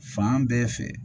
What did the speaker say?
Fan bɛɛ fɛ